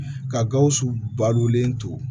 Ka gawusu badulen to